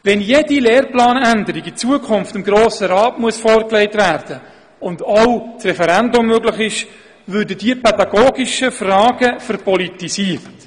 Wenn in Zukunft jede Lehrplanänderung dem Grossen Rat vorgelegt werden muss und auch das Referendum möglich ist, würden diese pädagogischen Fragen verpolitisiert.